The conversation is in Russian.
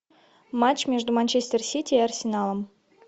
матч между манчестер сити и арсеналом